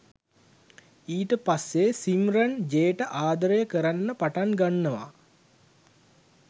ඊට පස්සේ සිම්රන් ජේට ආදරය කරන්න පටන් ගන්නවා